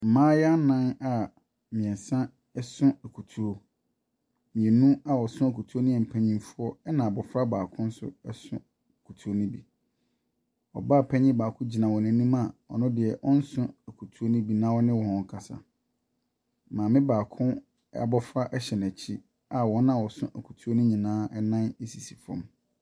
Mmayeaa nan a mmiɛnsa so akutuo. Mmienu a wɔso akutuo no yɛ mpanimfoɔ, ɛna abofra baako nso so akutuo no bi. Ɔbaa panin baako gyina wɔn wɔn anima ɔno deɛ ɔnso akutuo no bi na ɔne wɔn rekasa. Maame abofra no abofra hyɛ n'akyi a wɔn a wɔso akutuo no nyinaa nan sisi fam.